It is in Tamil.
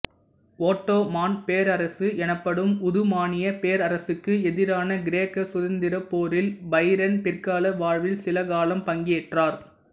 ஓட்டோமான் பேரரசு எனப்படும் உதுமானியப் பேரரசுக்கு எதிரான கிரேக்க சுதந்திரப்போரில் பைரன் பிற்கால வாழ்வில் சில காலம் பங்கேற்றார்